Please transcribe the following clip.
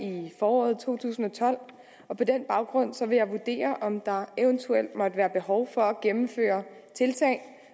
i foråret to tusind og tolv og på den baggrund vil jeg vurdere om der eventuelt måtte være behov for at gennemføre tiltag